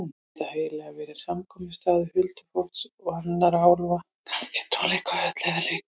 Þar gæti svo hæglega verið samkomustaður huldufólks og annarra álfa, kannski tónleikahöll eða leikhús.